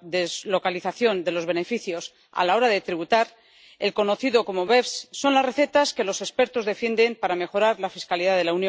deslocalización de los beneficios a la hora de tributar —conocida como BEPS— son las recetas que los expertos defienden para mejorar la fiscalidad de la Unión.